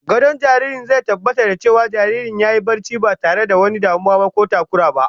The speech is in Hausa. Gadon jariri zai tabbatar da cewa jariri yayi barcin ba tare da wani damuwa ko takurawa ba